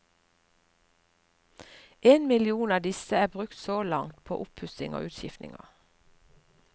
En million av disse er brukt så langt på oppussing og utskiftninger.